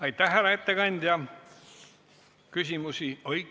Aitäh, härra ettekandja!